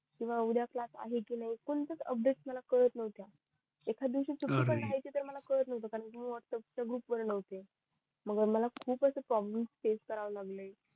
पुन्हा उद्या क्लास आहे कि नई कोणती च अपडेट मला कळत नव्हती एखाद दिवशी सुटी पण राहायची तरी पण मला कळत नव्हतं कारण मी व्हाटसप्प्स च्या ग्रुप वर नव्हती